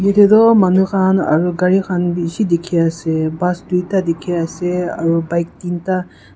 itey doh manu khan aro gari khan bishi dikhiase bus duita dikhiase aro bike tinta.